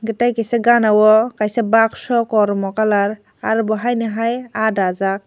tai kisa gana o kaisa bakso kormo colour aro bo hai no hai aah dagak.